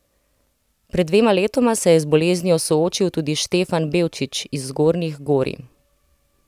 Pred dvema letoma se je z boleznijo soočil tudi Štefan Bevčič iz Zgornjih Gorij.